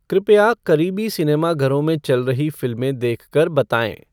कृपया क़रीबी सिनेमाघरों में चल रही फिल्में देख कर बताएँ